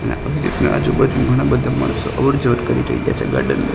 આજુ બાજુ ઘણા બધા માણસો અવર જવર કરી રહ્યા છે ગાર્ડન --